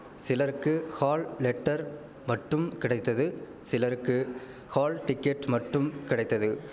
சிலருக்கு hall letter மட்டும் கிடைத்தது சிலருக்கு ஹால் டிக்கெட் மட்டும் கிடைத்தது